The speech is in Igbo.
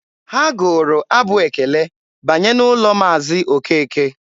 Ha gụụrụ abụ ekele banye n'ụlọ Maazi Okeke.